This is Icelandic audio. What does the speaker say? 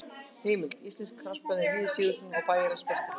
Heimildir: Íslensk knattspyrna eftir Víði Sigurðsson og Bæjarins besta.